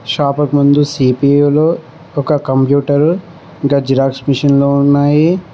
షాపుకు ముందు సిపిఎల్లో ఒక కంప్యూటర్ జిరాక్స్ మిషన్ లో ఉన్నాయి.